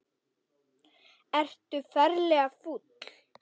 Ertu ferlega fúll?